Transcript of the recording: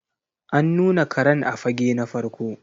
An nuna Karen a fage na farko.